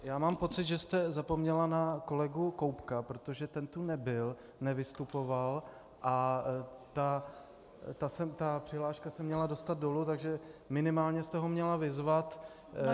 Já mám pocit, že jste zapomněla na kolegu Koubka, protože ten tu nebyl, nevystupoval a ta přihláška se měla dostat dolů, takže minimálně jste ho měla vyzvat.